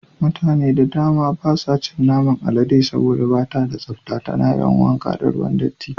Mutane da dama basu cin naman alade saboda bata da tsafta, tana yawan wanka ne da ruwan datti.